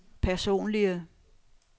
personlige